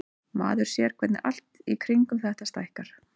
Maður sér hvernig allt í kringum þetta stækkar.